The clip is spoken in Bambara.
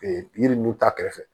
Ee yiri ninnu ta kɛrɛfɛ